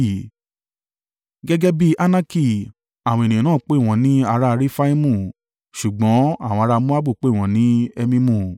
Gẹ́gẹ́ bí Anaki àwọn ènìyàn náà pè wọ́n ní ará Refaimu ṣùgbọ́n àwọn ará Moabu pè wọ́n ní Emimu.